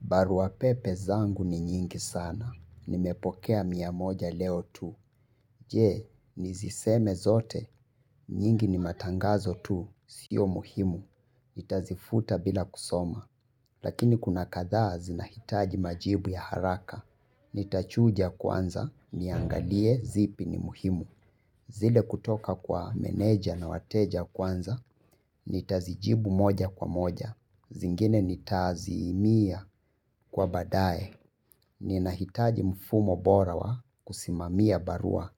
Barua pepe zangu ni nyingi sana. Nimepokea mia moja leo tu. Je, nizisome zote, nyingi ni matangazo tu, sio muhimu. Nitazifuta bila kusoma. Lakini kuna kadhaa zinahitaji majibu ya haraka. Nitachuja kwanza, niangalie zipi ni muhimu. Zile kutoka kwa meneja na wateja kwanza, nitazijibu moja kwa moja. Zingine nitaaziimia kwa baadae. Ninahitaji mfumo bora wa kusimamia barua.